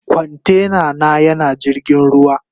Kwantena na yana jirgin ruwa.